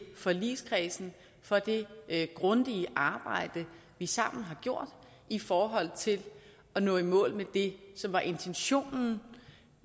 forligskredsen for det grundige arbejde vi sammen har gjort i forhold til at nå i mål med det som var intentionen